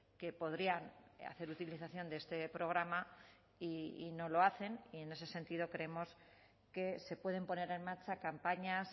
que podrían hacer utilización de este programa y no lo hacen y en ese sentido creemos que se pueden poner en marcha campañas